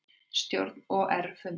Stjórn OR fundar